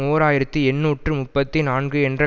ஓர் ஆயிரத்தி எண்ணூற்று முப்பத்தி நான்கு என்ற